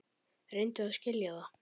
Reyndu að skilja það.